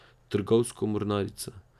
Trgovsko mornarico!